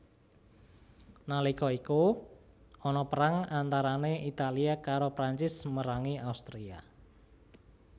Nalika iku ana perang antarane Italia karo Prancis merangi Austria